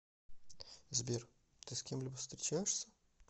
сбер ты с кем либо встречаешься